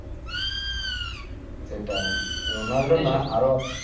সেটাই রোনাল্ডো না আরো